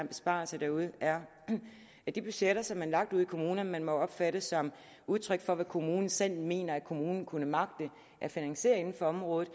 besparelse derude er at de budgetter som er lagt ude i kommunerne må opfattes som udtryk for hvad kommunen selv mener at kommunen kunne magte at finansiere inden for området